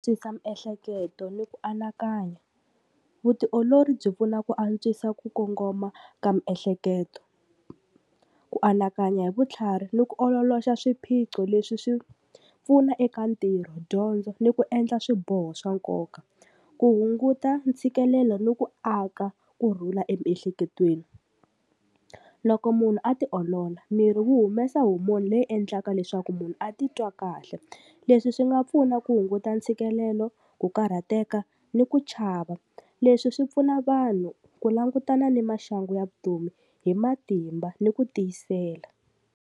Twisa miehleketo ni ku anakanya, vutiolori byi pfuna ku antswisa ku kongoma ka miehleketo, ku anakanya hi vutlhari ni ku ololoxa swiphiqo leswi swi pfuna eka ntirho dyondzo ni ku endla swiboho swa nkoka, ku hunguta ntshikelelo ni ku aka kurhula emiehleketweni. Loko munhu a ti olola miri wu humesa homoni leyi endlaka leswaku munhu a titwa kahle, leswi swi nga pfuna ku hunguta ntshikelelo, ku karhateka ni ku chava, leswi swi pfuna vanhu ku langutana ni maxangu ya vutomi hi matimba ni ku tiyisela.